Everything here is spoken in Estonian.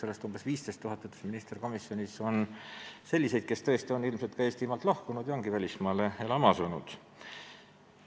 Ja minister ütles komisjonis, et tegelikult on sellest umbes 15 000 selliseid, kes on ilmselt Eestimaalt lahkunud ja välismaale elama asunud.